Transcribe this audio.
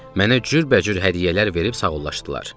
Mənə cürbəcür hədiyyələr verib sağollaşdılar.